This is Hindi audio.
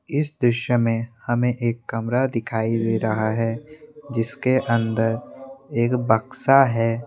इस दृश्य में हमें एक कमरा दिखाई दे रहा है जिसके अंदर एक बक्सा है।